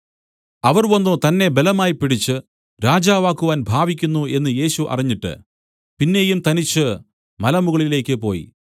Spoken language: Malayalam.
അവർ വന്നു തന്നെ ബലമായി പിടിച്ച് രാജാവാക്കുവാൻ ഭാവിക്കുന്നു എന്നു യേശു അറിഞ്ഞിട്ട് പിന്നെയും തനിച്ചു മലമുകളിലേക്കു പോയി